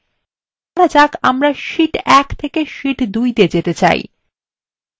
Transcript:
ধরা যাক আমরা sheet 1 থেকে sheet 2 তে যেতে চাই